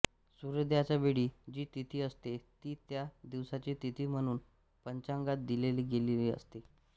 सूर्योदयाच्या वेळी जी तिथी असते ती त्या दिवसाची तिथीम्हणून पंचांगात दिलेली असते